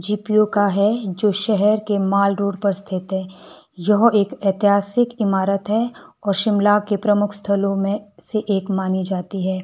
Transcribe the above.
GPU का है जो शहर के मॉलरोड पर स्थित है यह एक ऐतिहासिक इमारत है और शिमला के प्रमुख स्थलों में से एक मानी जाती है।